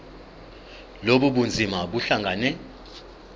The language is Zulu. lobu bunzima buhlangane